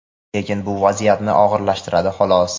lekin bu vaziyatni og‘irlashtiradi xolos.